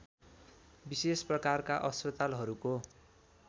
विशेष प्रकारका अस्पतालहरूको